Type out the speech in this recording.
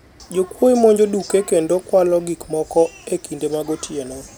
jokwoye monjo duke kendo kwalo gik moko e kinde mag otieno